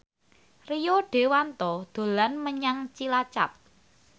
Rio Dewanto dolan menyang Cilacap